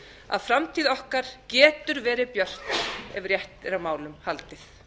að framtíð okkar getur verið björt ef rétt er á málum haldið